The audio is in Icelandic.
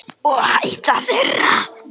Og ég á hæla þeirra.